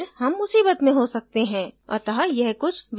अत: यह कुछ विचार करने योग्य है